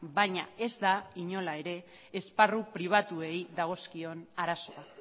baina ez da inola ere esparru pribatuei dagozkion arazoa